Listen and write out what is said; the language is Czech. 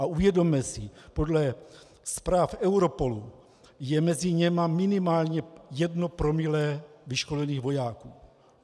A uvědomme si, podle zpráv Europolu je mezi nimi minimálně jedno promile vyškolených vojáků.